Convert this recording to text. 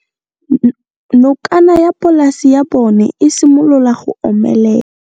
Nokana ya polase ya bona, e simolola go omelela.